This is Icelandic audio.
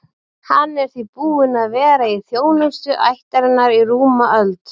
Hann er því búinn að vera í þjónustu ættarinnar í rúma öld.